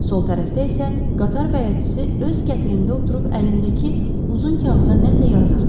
Sol tərəfdə isə qatar bələdçisi öz kətilində oturub əlindəki uzun kağıza nə isə yazırdı.